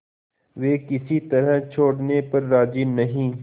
वे किसी तरह छोड़ने पर राजी नहीं